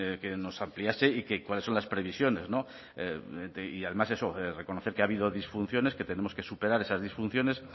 que nos ampliase y que cuáles son las previsiones y además eso reconocer que ha habido disfunciones que tenemos que superar esas disfunciones